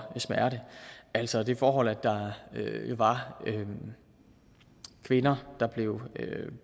smerte altså det forhold at der var kvinder der blev